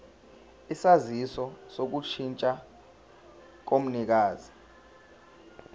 isaziso sokushintsha komnikazi